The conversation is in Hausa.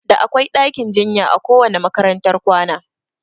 Da akwai ɗakin jinya a kowanne makarantar kwana